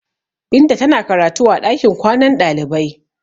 Binta tana karatu a ɗakin kwanan ɗalibai.